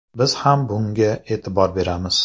Biz ham bunga e’tibor beramiz.